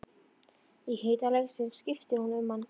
Í hita leiksins skiptir hún um ham.